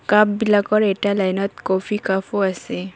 কাপবিলাকৰ এটা লাইনত ক'ফি কাফো আছে।